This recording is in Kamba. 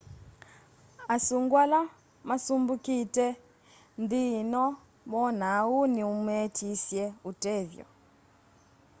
asungũ ala masũmbikite nthi ino moona ũu ni meetisye ũtethyo